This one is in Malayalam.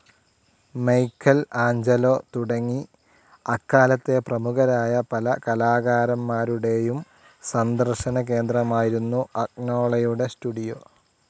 മൈക്കൽ ആഞ്ജലൊ തുടങ്ങി അക്കാലത്തെ പ്രമുഖരായ പല കലാകാരന്മാരുടെയും സന്ദർശനകേന്ദ്രമായിരുന്നു അഗ്നോളയുടെ സ്റ്റുഡിയോ.